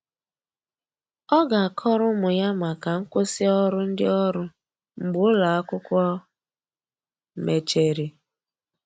Ọ ga akọrọ ụmụ ya maka nkwụsi ọrụ ndi ọrụ mgbe ụlọ akwụkwo mecheri.